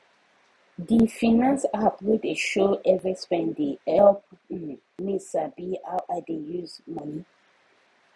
the finance app wey dey show every spending help um me sabi how i dey use money